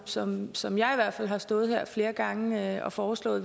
som som jeg i hvert fald har stået her flere gange og foreslået